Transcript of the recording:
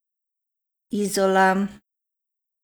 Izola.